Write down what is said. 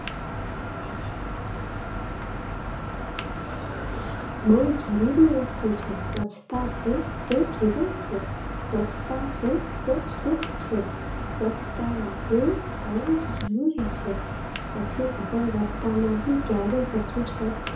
બહું જરૂરી વસ્તુ છે. સ્વચ્છતા છે તો જીવન છે. સ્વચ્છતા છે તો સુખ છે. સ્વચ્છતા રાખવી બહુ જ જરૂરી છે. પછી આપણે રસ્તામાં પણ ક્યારેક કશું કંઇક